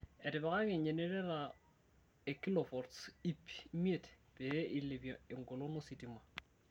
Etipikaki e genereta e kilovots ip imiet pee ilepie engolon ositma